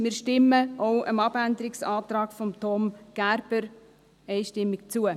Wir stimmen auch dem Abänderungsantrag von Thomas Gerber einstimmig zu.